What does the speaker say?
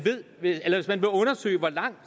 vil undersøge hvor langt